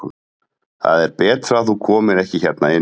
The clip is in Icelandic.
Það er betra að þú komir ekki hérna inn.